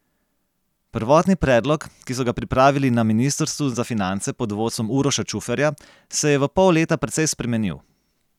Prvotni predlog, ki so ga pripravili na ministrstvu za finance pod vodstvom Uroša Čuferja, se je v pol leta precej spremenil.